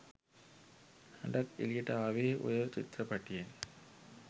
හඬක් එළියට ආවේ ඔය චිත්‍රපටියෙන්.